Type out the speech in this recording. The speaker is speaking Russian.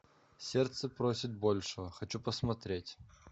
сердце просит большего хочу посмотреть